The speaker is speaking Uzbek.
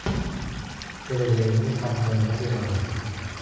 Kelajagingiz haqida nima deya olasiz?